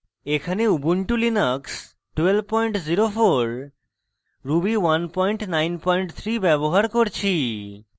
এখানে ubuntu linux সংস্করণ 1204 ruby 193 ব্যবহার করছি